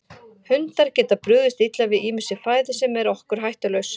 Hundar geta brugðist illa við ýmissi fæðu sem er okkur hættulaus.